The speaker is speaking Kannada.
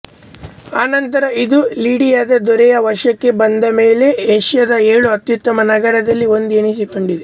ಅನಂತರ ಇದು ಲಿಡಿಯಾದ ದೊರೆಯ ವಶಕ್ಕೆ ಬಂದಮೇಲೆ ಏಷ್ಯಾದ ಏಳು ಅತ್ಯುತ್ತಮ ನಗರಗಳಲ್ಲಿ ಒಂದು ಎನ್ನಿಸಿಕೊಂಡಿತು